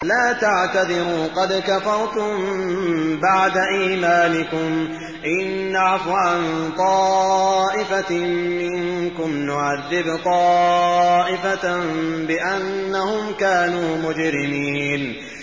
لَا تَعْتَذِرُوا قَدْ كَفَرْتُم بَعْدَ إِيمَانِكُمْ ۚ إِن نَّعْفُ عَن طَائِفَةٍ مِّنكُمْ نُعَذِّبْ طَائِفَةً بِأَنَّهُمْ كَانُوا مُجْرِمِينَ